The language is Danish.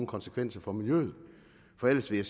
konsekvenser for miljøet for ellers vil